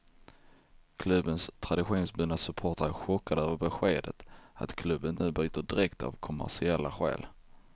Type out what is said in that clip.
Klubbens traditionsbundna supportrar är chockade över beskedet att klubben nu byter dräkt av kommersiella skäl.